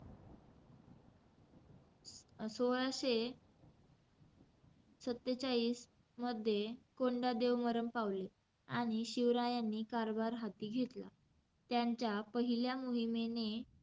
सोळाशे सत्तेचाळीस मध्ये, कोंडादेव मरण पावले. आणि शिवरायांनी कारभार हाती घेतला. त्यांच्या पहिल्या मोहिमेने,